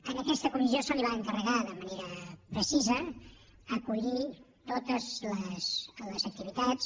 a aquesta comissió se li va encarregar de manera precisa acollir totes les activitats